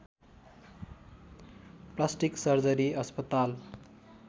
plastic surgery अस्पताल